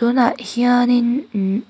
tunah hianin imm